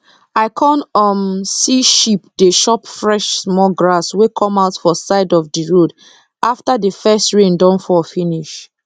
i come um see sheep dey chop fresh small grass wey come out for side of d road after d first rain don fall finish